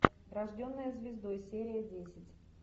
рожденная звездой серия десять